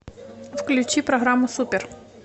включи программу супер